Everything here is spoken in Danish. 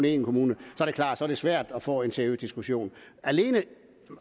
én kommune er det klart at det er svært at få en seriøs diskussion